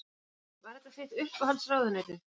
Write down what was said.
Heimir: Var þetta þitt uppáhalds ráðuneyti?